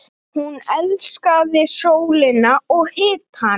Hún elskaði sólina og hitann.